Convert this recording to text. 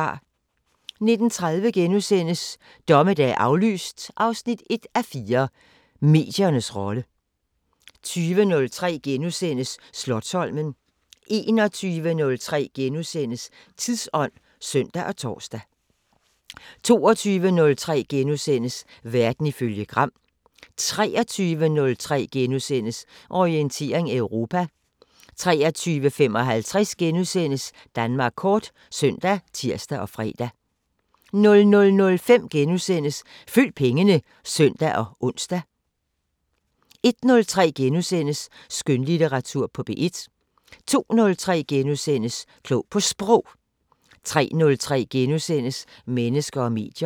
19:30: Dommedag aflyst 1:4 – Mediernes rolle * 20:03: Slotsholmen * 21:03: Tidsånd *(søn og tor) 22:03: Verden ifølge Gram * 23:03: Orientering Europa * 23:55: Danmark Kort *(søn og tir-fre) 00:05: Følg pengene *(søn og ons) 01:03: Skønlitteratur på P1 * 02:03: Klog på Sprog * 03:03: Mennesker og medier *